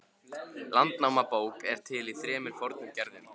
Landnámabók er til í þremur fornum gerðum.